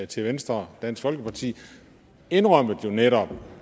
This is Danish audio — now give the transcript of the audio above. til venstre dansk folkeparti indrømmede jo netop